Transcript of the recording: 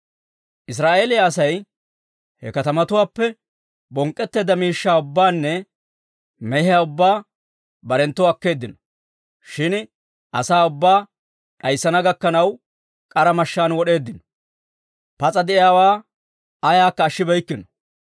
Israa'eeliyaa Asay he katamatuwaappe bonk'k'eedda miishshaa ubbaanne mehiyaa ubbaa barenttoo akkeeddino. Shin asaa ubbaa d'ayssana gakkanaw k'ara mashshaan wod'eeddino; pas'a de'iyaawaa ayaakka ashshibeykkino.